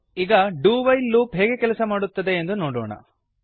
ಈಗ do while loop ಹೇಗೆ ಕೆಲಸ ಮಾಡುತ್ತದೆ ಎಂದು ನೋಡೋಣ